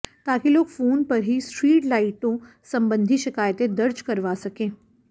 ताकि लोग फोन पर ही स्ट्रीट लाइटों संबंधी शिकायतें दर्ज करवा सकें